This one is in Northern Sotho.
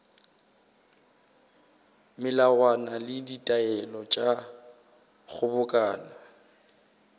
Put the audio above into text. melawana le ditaelo tša kgobokano